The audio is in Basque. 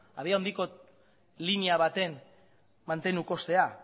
abiadura handiko linea baten mantendu kostea